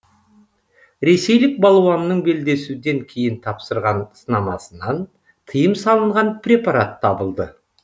ресейлік балуанның белдесуден кейін тапсырған сынамасынан тыйым салынған препарат табылды